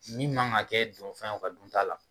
Ni man ka kɛ donfɛn ye u ka dunta la